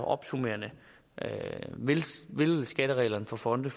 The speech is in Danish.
opsummerende vil skattereglerne for fonde